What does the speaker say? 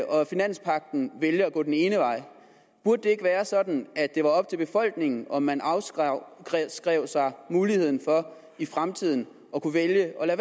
og finanspagten vælger at gå den ene vej burde det ikke være sådan at det var op til befolkningen om man afskrev sig muligheden for i fremtiden at kunne vælge at